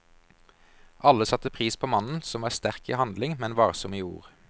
Alle satte pris på mannen, som var sterk i handling, men varsom i ord.